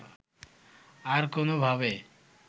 আর কোনও ভাবে